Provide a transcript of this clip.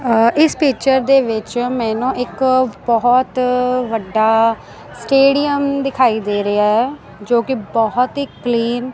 ਇਸ ਪਿਕਚਰ ਦੇ ਵਿੱਚ ਮੈਨੂੰ ਇੱਕ ਬਹੁਤ ਵੱਡਾ ਸਟੇਡੀਅਮ ਦਿਖਾਈ ਦੇ ਰਿਹਾ ਹੈ ਜੋ ਕਿ ਬਹੁਤ ਹੀ ਕਲੀਨ